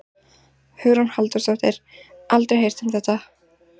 Hugrún Halldórsdóttir: Aldrei heyrt um þetta?